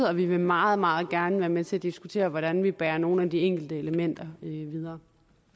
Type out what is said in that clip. og vi vil meget meget gerne være med til at diskutere hvordan vi bærer nogle af de enkelte elementer videre